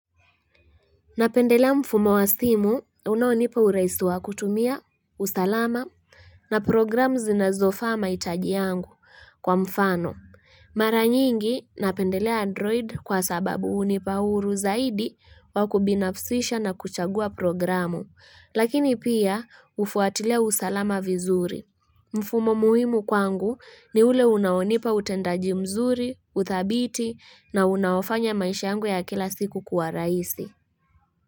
Napendelea mfumo wa simu, unaonipa urahisi wa kutumia, usalama, na programu zinazofaa mahitaji yangu kwa mfano. Mara nyingi, napendelea android kwa sababu hunipa huru zaidi wa kubinafsisha na kuchagua programu, lakini pia hufwatilia usalama vizuri. Mfumo muhimu kwangu ni ule unaonipa utendaji mzuri, uthabiti na unaofanya maisha yangu ya kila siku kuwa raisi.